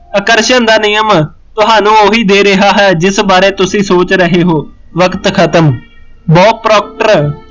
ਆਕਰਸ਼ਣ ਦਾ ਨਿਯਮ ਤਹਾਨੂੰ ਉਹੀ ਦੇ ਰਿਹਾ ਹੈ, ਜਿਸ ਬਾਰੇ ਤੁਸੀਂ ਸੋਚ ਰਹੇ ਹੋ ਵਿਅਕਤ ਖ਼ਤਮ, ਬੋਬ ਪਰੋਪਟਰ